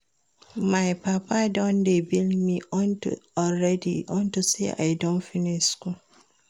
My papa don dey bill me already unto say I don finish school